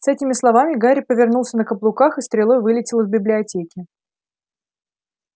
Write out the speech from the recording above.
с этими словами гарри повернулся на каблуках и стрелой вылетел из библиотеки